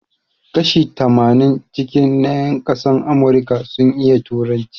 Kashi tamanin cikin na yan ƙasan Amurika sun iya turanci